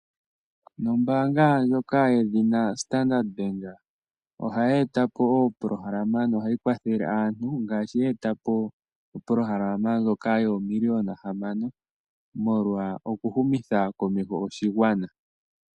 Nombanga ndjoka yedhina Standard Bank ohayi etapo opolohalama nohayi kwathele aantu ngashi yeetapo opolohalama ndjoka yoomillion hamano molwa oku humitha komesho oshigwana.